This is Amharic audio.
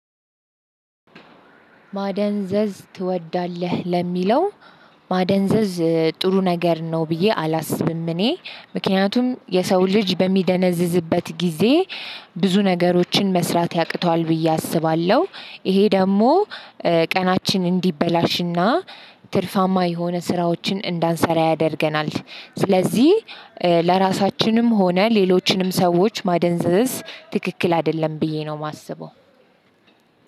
ማደንዘዝ ትወዳለህ ለሚለው ማደንዘዝ ጥሩ ነገር ነው ብዬ አላስብም እኔ ምክንያቱም የሰው ልጅ በሚደነዝዝበት ጊዜ ብዙ ነገሮችን መስራት ያቅተዋል ብዬ አስባለሁ። ይሄ ደግሞ ቀናችን እንዲበላሽና ትርፋማ የሆነ ስራዎችን እንዳንሰራ ያደርገናል። ስለዚህ ለራሳችንም ሆነ ሌሎችንም ሰዎች ማደንዘዝ ትክክል አይደለም ብዬ ነው ማስበው።